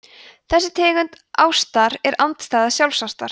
þessi tegund ástar er andstæða sjálfsástar